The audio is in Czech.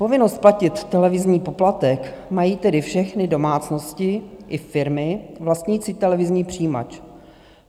Povinnost platit televizní poplatek mají tedy všechny domácnosti i firmy vlastnící televizní přijímač.